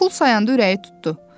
Pul sayanda ürəyi tutdu.